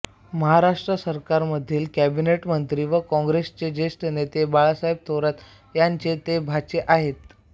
महाराष्ट्र सरकारमधील कॅबिनेट मंत्री व काँग्रेसचे ज्येष्ठ नेते बाळासाहेब थोरात यांचे ते भाचे आहेत